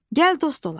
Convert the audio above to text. Gəl dost olaq.